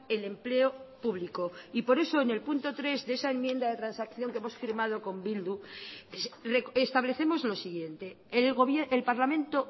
el empleo público y por eso en el punto tres de esa enmienda de transacción que hemos firmado con bildu establecemos lo siguiente el parlamento